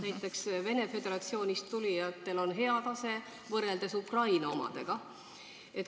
Näiteks Vene Föderatsioonist tulijatel on palju parem tase kui Ukraina omadel.